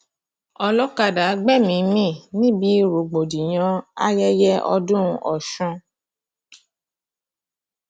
olọkadà gbẹmíín mi níbi rògbòdìyàn ayẹyẹ ọdún ọsùn